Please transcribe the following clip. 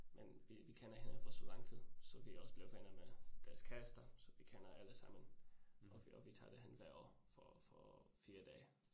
Men vi vi kender hinanden for så lang tid, så vi også blevet venner med deres kærester, så vi kender allesammen, og vi og vi tager derhen hvert år for for 4 dage